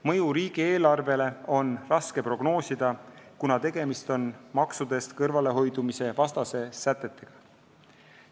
Mõju riigieelarvele on raske prognoosida, kuna tegemist on maksudest kõrvalehoidmise vastaste sätetega.